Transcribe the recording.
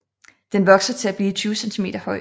Den vokser til blive 20 cm høj